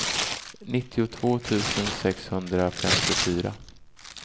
nittiotvå tusen sexhundrafemtiofyra